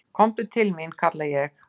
"""Komdu til mín, kalla ég."""